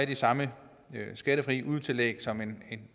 de samme skattefri udetillæg som en